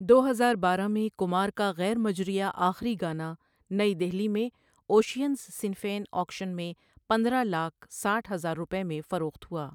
دو ہزار بارہ میں، کمار کا غیر مجریہ آخری گانا نئی دہلی میں اوشینز سنیفین آکشن میں پندرہ لاکھ ساٹھ ہزار روپے میں فروخت ہوا۔